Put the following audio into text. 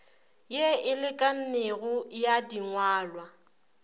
ye e lekanego ya dingwalwa